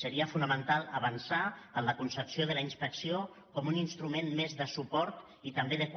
seria fonamental avançar en la concepció de la inspecció com un instrument més de suport i també de